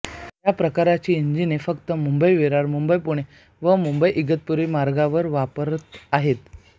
या प्रकारची इंजिने फक्त मुंबईविरार मुंबईपुणे व मुंबईइगतपुरी मार्गांवर वापरात आहेत